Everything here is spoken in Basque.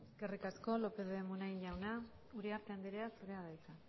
eskerrik asko lópez de munain jauna uriarte anderea zurea da hitza